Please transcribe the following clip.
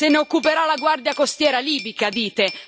Se ne occuperà la Guardia costiera libica, dite